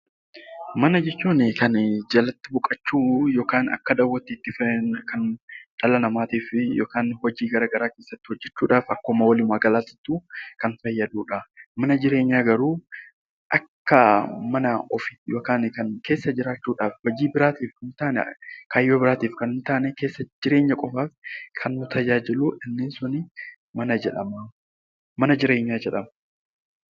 Mana jechuun kan jalatti boqochuu yookaan akka dahootti itti fayyadamnu yoo ta'u, kan dhala namaatii fi hojii garaagaraa keessatti hojjachuudhaaf akkuma waliin galaatti kan fayyadudha. Mana jireenyaa garuu akka mana ofiitti keessa jiraachuudhaaf fayyadan yommuu ta'an, jireenya qofaaf kan nu tajaajilanidha .